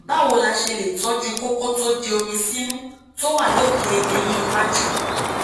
báwo la ṣe lè tọjú kókó tó di omi sínú tó wà lókè eyín iwájú